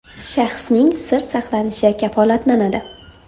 Shaxsning sir saqlanishi kafolatlanadi”.